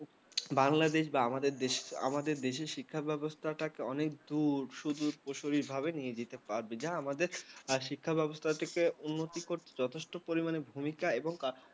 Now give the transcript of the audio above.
বাংলাদেশ বা আমাদের দেশের শিক্ষা ব্যবস্থা অনেক দূর শুধু প্রচলিতভাবে নিতে পারবে যে আমাদের শিক্ষা ব্যবস্থা উন্নতি করতে যথেষ্ট পরিমাণে ভূমিকা এবং